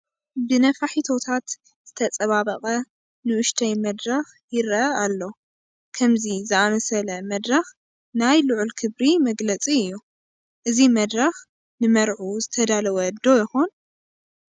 ብነፋሒቶታት ዝተፀባበቐ ንኡሽተይ መድረኽ ይርአ ኣሎ፡፡ ከምዚ ዝኣምሰለ መድረኽ ናይ ልዑል ክብሪ መግለፂ እዩ፡፡ እዚ መድረኽ ንመርዑ ዝተዳለወ ዶ ይኾን?